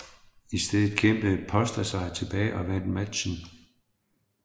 I stedet kæmpede Pósta sig tilbage og vandt matchen